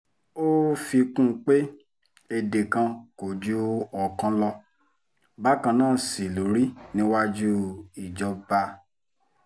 ó fi kún un pé èdè kan kò ju ọ̀kan lọ bákan náà sí ló rí níwájú ìjọba